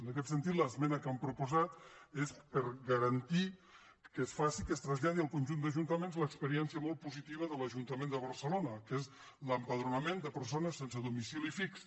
en aquest sentit l’esmena que hem proposat és per garantir que es traslladi al conjunt d’ajuntaments l’experiència molt positiva de l’ajuntament de barcelona que és l’empadronament de persones sense domicili fix